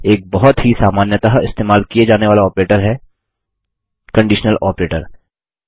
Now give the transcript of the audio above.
एक बहुत ही सामान्यतः इस्तेमाल किये जाने वाला ऑपरेटर है कंडिशनल ऑपरेटर